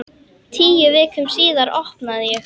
Tíu vikum síðar opnaði ég.